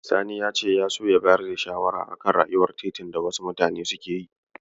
Sani ya ce ya so ya bayar da shawara a kan ƴar'uwar titin da wasu mutanen suke yi